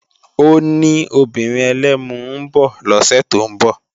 Ó ní obìnrin ẹlẹ́mu ń bọ̀ lọ́sẹ̀ tó ń bọ̀